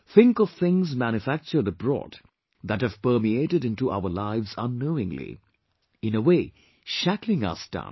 think of things manufactured abroad that have permeated into our lives unknowingly, in a way, shackling us down